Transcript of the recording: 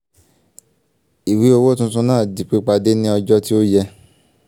ìwé owó tunutun náà di pípàdé ní ọjọ́ tí ó yẹ